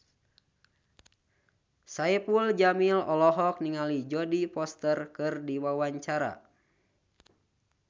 Saipul Jamil olohok ningali Jodie Foster keur diwawancara